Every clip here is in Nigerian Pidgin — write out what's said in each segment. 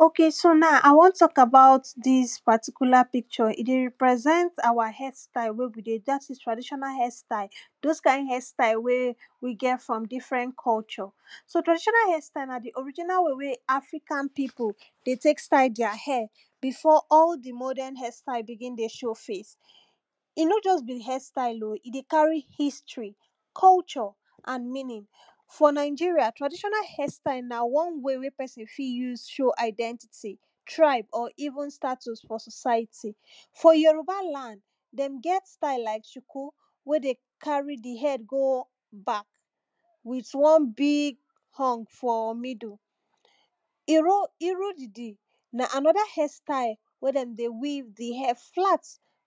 okay so now I want talk about dis particular picture e dey represent our hair style wey we dey do dat is traditional hair style, those kind hair style wey we get from different culture, so traditional hair style na di original way wey African people dey take style their hair. befor all di modern hair style begin dey show face. e nor just be hairstyle oh, e dey carry history, culture and meaning. for Nigeria traditional hair style na one way wey person fit use show identity. tribe or even status for society. for Yoruba land dem get style like shuku, wen dey carry di hair go back. with one big horn for middle, iro irudidi na another hair style wen dem dey weave di hair flat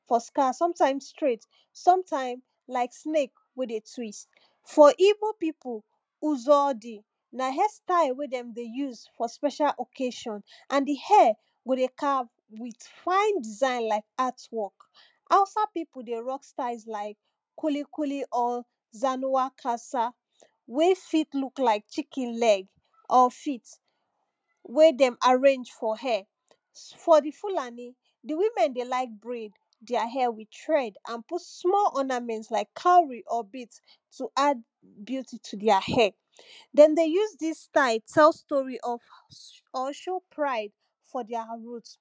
for scalp, sometime straight, sometime like snake wey dey twist. for igbo people, uzodi na hair style wen dem dey use for special occasion and di hair go dey calve with fine design like art work. hausa people dey rock styles like kulikuli or zanuakasa, wey fit look like chicken leg or feet. wen dem arrange for hair. for Fulani, di women dey like braid their hair with tread and put small ornament like cowry or bead to add beauty to their hair, dem dey use dis style tell story of or show pride for their root.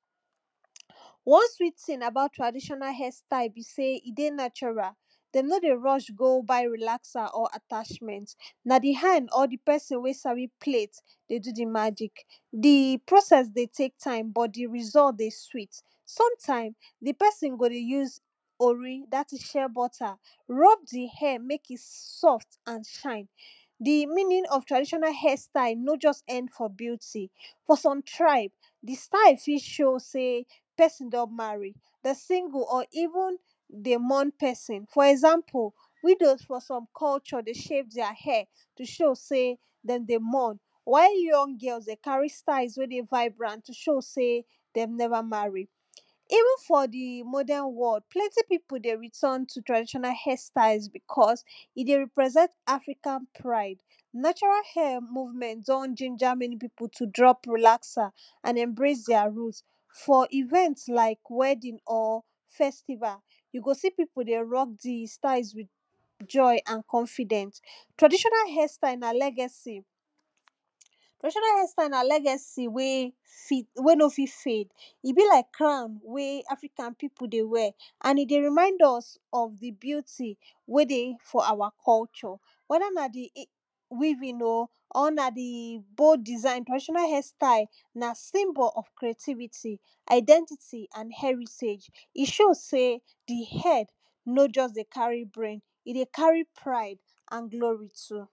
one sweet thing about traditional hair style be sey, e dey natural, dem nor dey rush go buy relaxer or attachment. na di hand or di person wey sabi plat dey do di magic. di process dey take time, but di result dey sweet. sometime di person go dey use ori dat is shea butter rob di hair make e soft and shine. di meaning of traditional hair style no just end for beauty. for some tribe, di style fit show sey person don marry, di single or even if dem dey mourn person for example; widows for some culture dey shave their hair. to show sey dem dey mourn, while young girls dey carry styles wen dey vibrant to show sey dem never marry. even for di modern world, plenty people dey return to traditional hair styles because e dey represent African pride. natural hair movement don ginger many persons to drop relaxer and embrace their root. for event like wedding or festival, you go see people dey rock the styles with joy and confident. traditional hair style na legacy traditional hairstyle na legacy wey fit wey no fit fade, e be like crown wey African people, dey wear, and e dey remind us of di beauty wey dey for our culture. wether na di weaving oh, or na di bold, design traditional hair style na symbol of creativity, identity and heritage. e show sey di head no just dey carry brain, e dey carry pride and glory too.